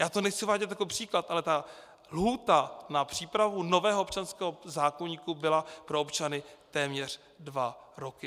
Já to nechci uvádět jako příklad, ale ta lhůta na přípravu nového občanského zákoníku byla pro občany téměř dva roky.